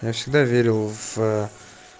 я всегда верил в